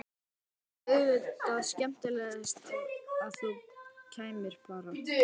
Það væri auðvitað skemmtilegast að þú kæmir bara!